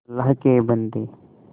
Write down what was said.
अल्लाह के बन्दे